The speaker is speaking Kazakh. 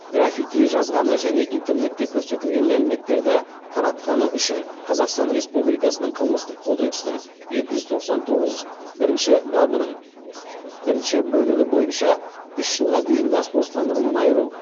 граффити жазғаны және интернетте көрсетілген мәліметтерді таратқаны үшін қазақстан республикасының қылмыстық кодексінің екі жүз тоқсан тоғыз бірінші бабының бірінші бөлігі бойынша үш жылға дейін бас бостандығынан айыру